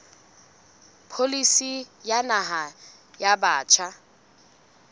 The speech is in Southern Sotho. pholisi ya naha ya batjha